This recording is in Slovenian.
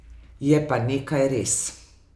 Je pa nekaj res.